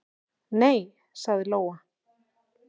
"""Nei, sagði Lóa."""